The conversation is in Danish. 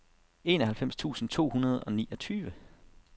enoghalvfems tusind to hundrede og niogtyve